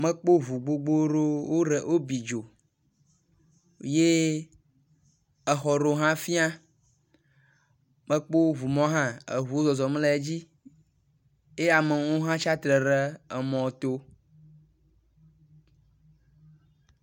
Mekpɔ ŋu gbogbo ɖewo wobi dzo ye exɔ ɖewo hã wofia. Mekpɔ ŋumɔ hã, eŋuwo zɔzɔm le dzi eye amewo hã tsatsitre ɖe emɔto.